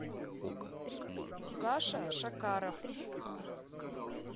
саша шакаров